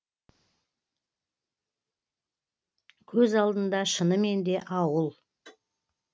көз алдында шынымен де ауыл